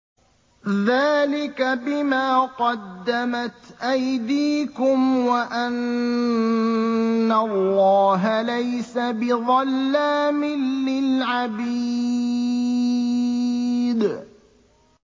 ذَٰلِكَ بِمَا قَدَّمَتْ أَيْدِيكُمْ وَأَنَّ اللَّهَ لَيْسَ بِظَلَّامٍ لِّلْعَبِيدِ